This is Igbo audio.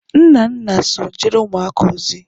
Nnanna so jere umuaka ozi